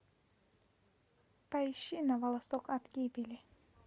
поищи на волосок от гибели